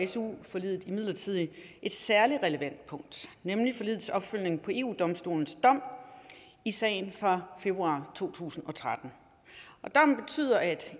su forliget imidlertid et særligt relevant punkt nemlig forligets opfølgning på eu domstolens dom i sagen fra februar to tusind og tretten og dommen betyder at